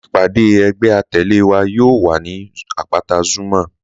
Ìpagò ẹgbẹ̀ àtẹle wa yóò wà ni apátà Zuma.